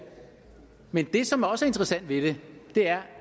men det som også er interessant ved det er